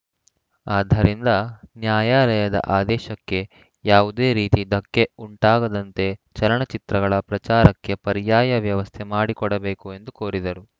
ಆದ್ದರಿಂದ ನ್ಯಾಯಾಲಯದ ಆದೇಶಕ್ಕೆ ಯಾವುದೇ ರೀತಿ ಧಕ್ಕೆ ಉಂಟಾಗದಂತೆ ಚಲನಚಿತ್ರಗಳ ಪ್ರಚಾರಕ್ಕೆ ಪರ್ಯಾಯ ವ್ಯವಸ್ಥೆ ಮಾಡಿಕೊಡಬೇಕು ಎಂದು ಕೋರಿದರು